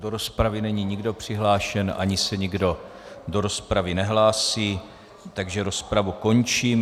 Do rozpravy není nikdo přihlášen ani se nikdo do rozpravy nehlásí, takže rozpravu končím.